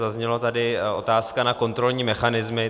Zazněla tady otázka na kontrolní mechanismy.